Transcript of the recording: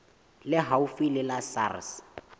le haufi le la sars